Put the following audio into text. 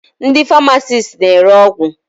Ndị famasisti na-ere ọgwụ.